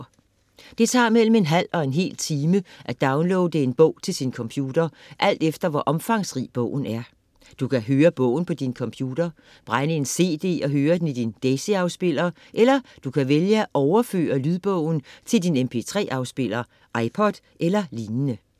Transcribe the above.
Det tager mellem en halv til en hel time at downloade en bog til sin computer alt efter, hvor omfangsrig bogen er. Du kan høre bogen på din computer, brænde en cd og høre den i din DAISY-afspiller eller du kan vælge at overføre lydbogen til din mp3-afspiller, iPod eller lignende.